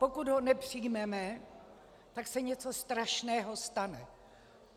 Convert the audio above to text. Pokud ho nepřijmeme, tak se něco strašného stane.